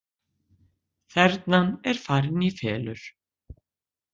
Þernan er farin í felur